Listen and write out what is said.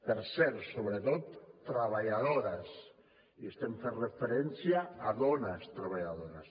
per cert sobretot treballadores i estem fent referència a dones treballadores